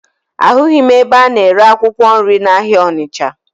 Ahụghị m ebe a na-ere akwụkwọ nri n'ahịa Ọnịcha